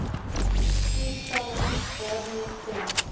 teenstelling daarmee stem